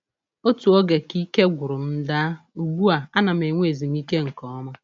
Otu oge ka ike gwụrụ m daa, ugbu a ana m enwe ezumike nke ọma.